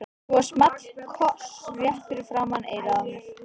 Svo small koss rétt fyrir framan eyrað á mér.